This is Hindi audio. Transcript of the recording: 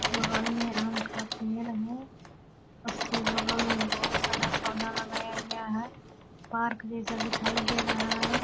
बगल में राम का पेड़ है उसके बगल में बहुत सारा पौधा लगाया गया है पार्क जैसा दिखाई दे रहा है ।